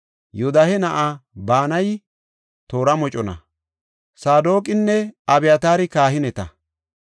Yoodahe na7ay Banayi toora mocona; Saadoqinne Abyataari kahineta.